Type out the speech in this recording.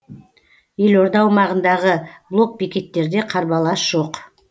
елорда аумағындағы блокбекеттерде қарбалас жоқ